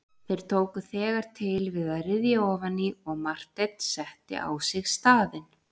Þeir tóku þegar til við að ryðja ofan í og Marteinn setti á sig staðinn.